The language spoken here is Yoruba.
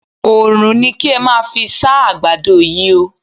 Oòrùn ni kí ẹ́ máa fí sá ẹ̀ àgbàdo yí o.